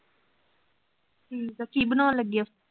ਠੀਕ ਆ, ਕਿ ਬਨਾਉਣ ਲੱਗੇ ਹੋ?